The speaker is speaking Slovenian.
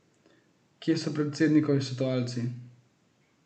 Kje so predsednikovi svetovalci?